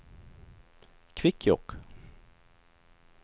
Kvikkjokk